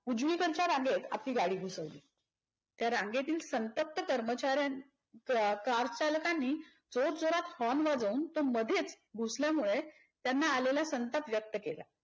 उजवीकडच्या रांगेत आपली गाडी घुसवली. त्या रांगेतील संतप्त कर्मचऱ्य कारचालकांनी जोरजोरात horn वाजवून तो मध्येच घुसल्यामुळे त्यांना आलेला संताप व्यक्त केला.